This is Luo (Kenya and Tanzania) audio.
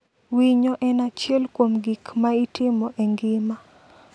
Winyo en achiel kuom gik ma itimo e ngima.